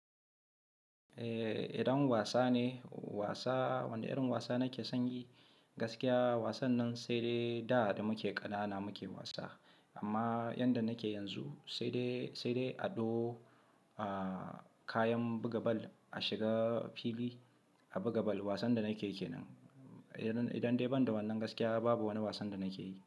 Eh idan wasa ne, wasa wane irin wasa nake sonyi? Gaskiya wasan nan sai dai da da muke ƙanana muke wasa amma yanda nake yanzu sai dai, sai dai ado, kayan buga bal a shiga fili a buga bal wasan da nake yake nan. Idan dai ban da wannan gaskiya babu wani wasan da nake yi.